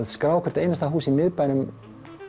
skrá hvert einasta hús í miðbænum